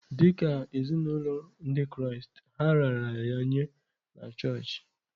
Dị ka ezinụlọ Ndị Kraịst, ha raara ya nye na chọọchị.